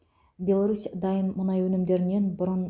беларусь дайын мұнай өнімдерінен бұрын